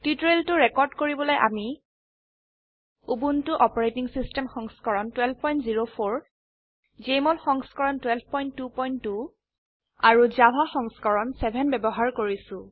টিউটোৰিয়েলটো ৰেকৰ্ড কৰিবলৈ আমি উবুন্টু অচ সংস্কৰণ 1204 জেএমঅল সংস্কৰণ 1222 আৰু জাভা সংস্কৰণ 7 ব্যবহাৰ কৰিছো